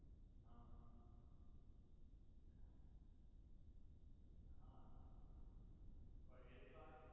હા હા પણ એ તો આજ